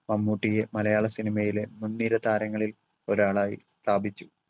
മമ്മൂട്ടിയെ മലയാള സിനിമയിലെ മുൻനിര താരങ്ങളിൽ ഒരാളായി സ്ഥാപിച്ചു.